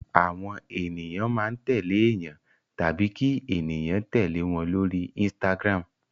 Àwọn ènìyàn máa ń tẹ̀lé èèyàn tàbí kí ènìyàn tẹ̀lé wọn lórí Instagram.